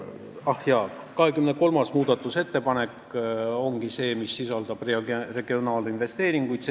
Ah jaa, 23. muudatusettepanek ongi see, mis on regionaalinvesteeringute kohta.